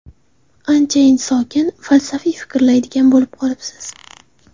Anchayin sokin, falsafiy fikrlaydigan bo‘lib qolibsiz?